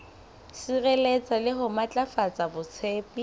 sireletsa le ho matlafatsa botsebi